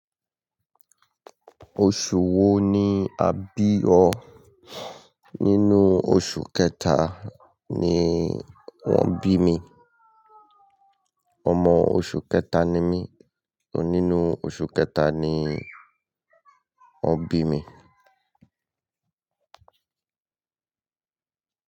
Oṣù wo ni a bí ọ? Nínú oṣù kẹta ni wón bí mi. Ọmọ oṣù kẹta ni mí. Nínú oṣù kẹta ni wón bí mi.